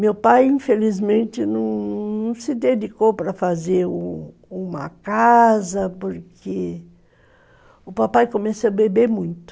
Meu pai, infelizmente, não não se dedicou para fazer uma casa porque o papai começou a beber muito.